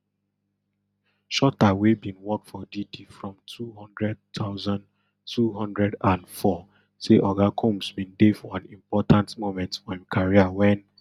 shuter wey bin work for diddy from two hundred thousand, two hundred and four say oga combs bin dey for an important moment for im career wen